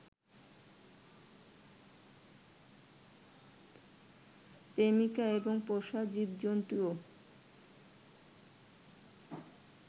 প্রেমিকা এবং পোষা জীবজন্তুও